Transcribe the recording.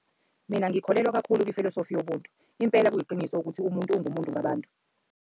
Mina ngikholelwa kakhulu kwifilosofi yobuntu. Impela kuyiqiniso ukuthi umuntu ungumuntu ngabantu.